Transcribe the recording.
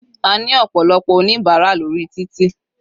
A ní ọ̀pọ̀lọpọ̀ oníbárà lórí títì.